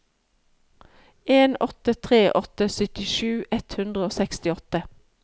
en åtte tre åtte syttisju ett hundre og sekstiåtte